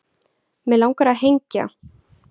mig langar að hengja